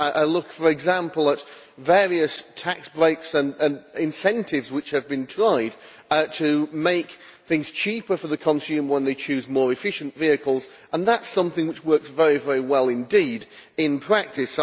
I look for example at various tax breaks and incentives which have been tried to make things cheaper for the consumer when they choose more efficient vehicles, and that is something which works very well indeed in practice.